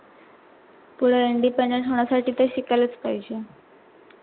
पुढे independent होण्यासाठी ते शिकायलाच पाहिजे.